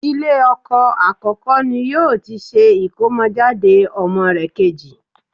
Ilé ọkọ àkọ́kọ́ ni yóò ti ṣe ìkómọjáde ọmọ rẹ̀ kejì